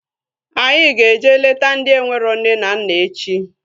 Anyị ga-eje leta ndị enwero nne na nna echi